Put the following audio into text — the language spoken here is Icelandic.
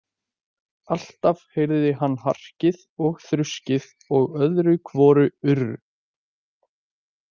Alltaf heyrði hann harkið og þruskið og öðru hvoru urr.